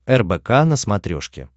рбк на смотрешке